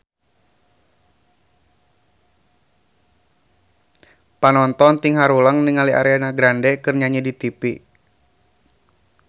Panonton ting haruleng ningali Ariana Grande keur nyanyi di tipi